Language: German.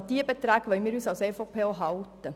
An diese Beträge wollen wir uns als EVP auch halten.